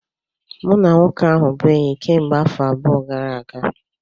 Mụ na nwoke ahụ bụ enyi kemgbe afọ abụọ gara aga